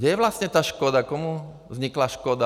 Kde je vlastně ta škoda, komu vznikla škoda?